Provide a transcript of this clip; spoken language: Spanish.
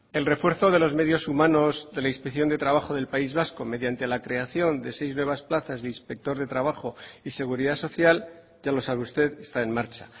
el refuerzo de los medios humanos de la inspección de trabajo del país vasco mediante la creación de seis nuevas plazas de inspector de trabajo y seguridad social ya lo sabe usted está en marcha